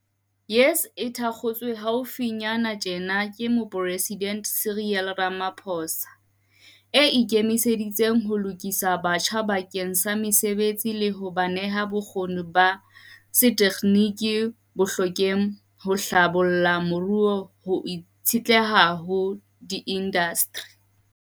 YES, e thakgotsweng hau finyana tjena ke Moporesidente Cyril Ramaphosa, e ikemiseditse ho lokisa batjha bakeng sa mesebetsi le ho ba neha bokgoni ba tsa setekginiki bo hlokehang ho hlabolla moruo ho itshetleha ho diindasteri.